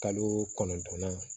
Kalo kɔnɔntɔn na